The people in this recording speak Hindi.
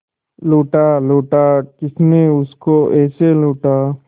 लूटा लूटा किसने उसको ऐसे लूटा